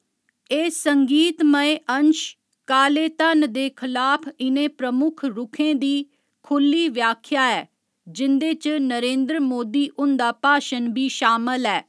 एह् संगीतमय अंश काले धन दे खलाफ इ'नें प्रमुख रुखें दी खु'ल्ली व्याख्या ऐ जिं'दे च नरेंद्र मोदी हुंदा भाशन बी शामल ऐ।